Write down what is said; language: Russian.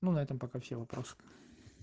ну на этом пока все вопрос